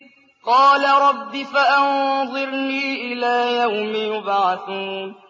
قَالَ رَبِّ فَأَنظِرْنِي إِلَىٰ يَوْمِ يُبْعَثُونَ